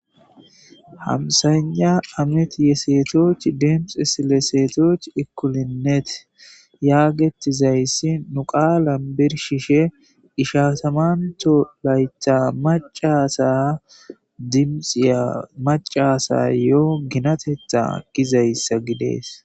Hamsayna amet ye seetochi demxe sile seetoch ikkulinnet yaagettizayssi nu qaalan birshishe ishasamanto laytha macasa dimxiya macasa yoo ginatetha gizayssa gidees